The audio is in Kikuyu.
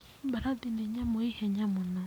Mbarathi nĩ nyamũ ĩ ihenya mũno.